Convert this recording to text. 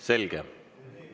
Selge.